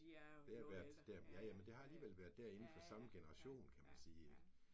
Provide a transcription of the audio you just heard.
Der har været der ja ja men det har alligevel været der inde for samme generation kan man sige ik